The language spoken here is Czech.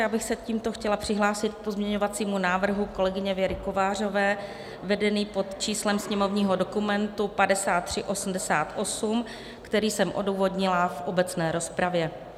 Já bych se tímto chtěla přihlásit k pozměňovacímu návrhu kolegyně Věry Kovářové vedenému pod číslem sněmovního dokumentu 5388, který jsem odůvodnila v obecné rozpravě.